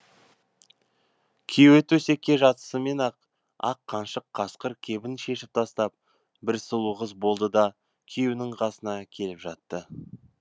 күйеуі төсекке жатысымен ақ ақ қаншық қасқыр кебін шешіп тастап бір сұлу қыз болды да күйеуінің қасына келіп жатты